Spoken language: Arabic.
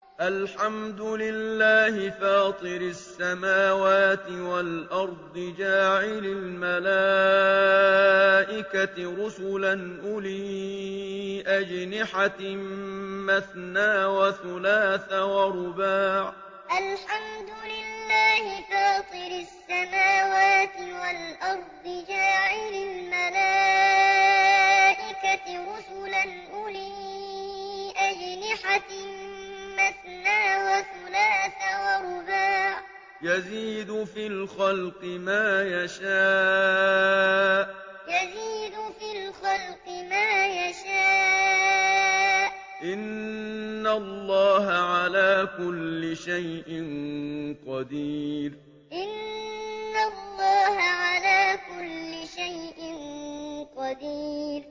الْحَمْدُ لِلَّهِ فَاطِرِ السَّمَاوَاتِ وَالْأَرْضِ جَاعِلِ الْمَلَائِكَةِ رُسُلًا أُولِي أَجْنِحَةٍ مَّثْنَىٰ وَثُلَاثَ وَرُبَاعَ ۚ يَزِيدُ فِي الْخَلْقِ مَا يَشَاءُ ۚ إِنَّ اللَّهَ عَلَىٰ كُلِّ شَيْءٍ قَدِيرٌ الْحَمْدُ لِلَّهِ فَاطِرِ السَّمَاوَاتِ وَالْأَرْضِ جَاعِلِ الْمَلَائِكَةِ رُسُلًا أُولِي أَجْنِحَةٍ مَّثْنَىٰ وَثُلَاثَ وَرُبَاعَ ۚ يَزِيدُ فِي الْخَلْقِ مَا يَشَاءُ ۚ إِنَّ اللَّهَ عَلَىٰ كُلِّ شَيْءٍ قَدِيرٌ